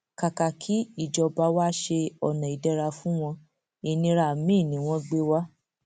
kàkà kí ìjọba wa ṣe ọnà ìdẹra fún wọn ìnira miín ni wọn gbé wa